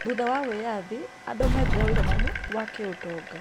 Thutha wa wĩyathi , andũ methire ũigananu wa kĩũtonga.